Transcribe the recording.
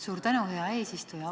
Suur tänu, hea eesistuja!